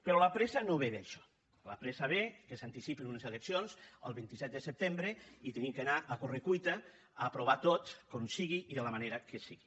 però la pressa no ve d’això la pressa ve que s’anticipen unes eleccions al vint set de setembre i hem d’anar a corre cuita a aprovar ho tot com sigui i de la manera que sigui